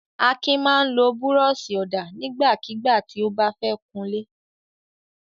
Akin máa ń lo búrọ́ṣì-ọ̀dà nígbàkigbà tí ó bá fẹ́ kunlé.